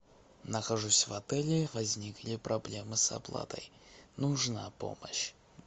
нахожусь в отеле возникли проблемы с оплатой нужна помощь